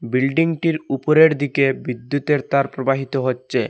বিল্ডিংটির উপরের দিকে বিদ্যুতের তার প্রবাহিত হচ্ছে।